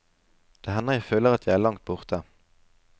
Det hender jeg føler at jeg er langt borte.